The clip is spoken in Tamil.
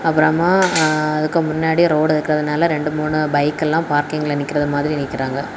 அப்பறோமா அஅ அதுக்கு முன்னாடி ரோட் இருக்கிறதுனால ரெண்டு மூணு பைக் எல்லாம் பார்க்கிங்ல நிக்கிற மாதிரி நிக்கிறாங்க.